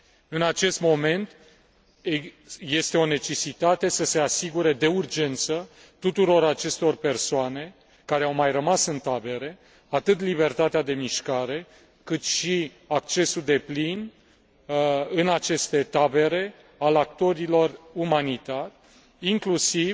În acest moment este o necesitate să se asigure de urgență tuturor acestor persoane care au mai rămas în tabere, atât libertatea de mișcare, cât și accesul deplin în aceste tabere al actorilor umanitari, inclusiv